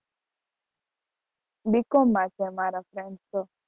bcom માં છે અમારા friends તો